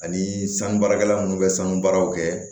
Ani sanu baarakɛla minnu bɛ sanu baaraw kɛ